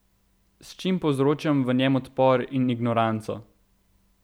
S čim povzročam v njem odpor in ignoranco?